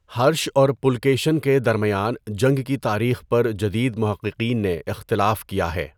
ہرش اور پُلکیشن کے درمیان جنگ کی تاریخ پر جدید محققین نے اختلاف کیا ہے۔